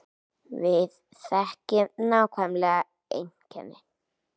Við þekkjum nákvæmlega einkennin